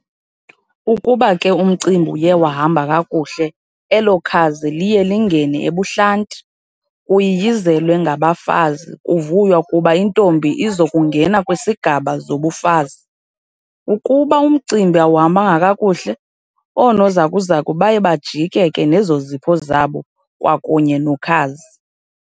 Ukuba ke umcimbi uye wahamba kakuhle elo khazi liye lingene ebuhlanti, kuyiyizelwe ngabafazi kuvuywa kuba intombi izokungena kwisigaba zobufazi. Ukuba umcimbi awuhambanga kakuhle, Oonozakuzaku baye bajike ke nezo zipho zabo kwakunye nokhazi.